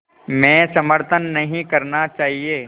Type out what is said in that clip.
में समर्थन नहीं करना चाहिए